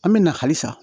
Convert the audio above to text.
An bɛ na halisa